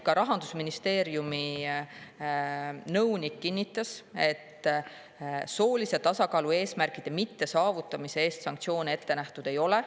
Ka Rahandusministeeriumi nõunik kinnitas, et soolise tasakaalu eesmärkide mittesaavutamise eest sanktsioone ette nähtud ei ole.